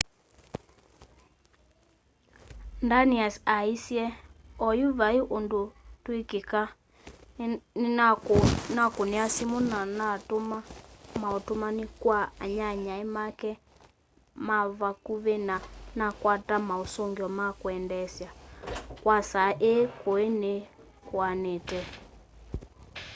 danius aaĩsye oyu vaĩ ũndũ twĩkwĩka nĩnakũnĩa siumu na natũma maũtũmanĩ kwa anyanyae make mavakũvĩ na nakwata maũsũngĩo ma kwendeesya kwa saa ĩĩ kĩũ nĩ kĩanĩte